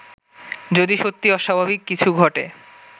যদি সত্যি অস্বাভাবিক কিছু ঘটে